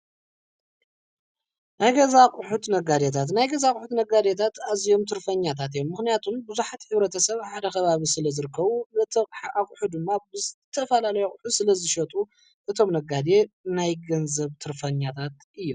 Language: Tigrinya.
ናይ ገዛ ኣቕሑት ነጋዴታት፡- ናይ ገዛ ኣቕሑት ነጋዴታት ኣዚዮም ትርፈኛታት እዮም፡፡ ምህንያቱም ብዙሓት ሕ/ሰብ ኣብ ሓደ ኸባቢ ስለ ዝርከቡ በቲ ኣቝሑ ድማ ብዝተፋላለ ኣቝሑ ስለዝሸጡ እቶም ነጋዴ ናይ ገንዘብ ትርፈኛታት እዮም፡፡